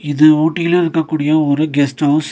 இது ஊட்டில இருக்கக்கூடிய ஒரு கெஸ்ட் ஹவுஸ் .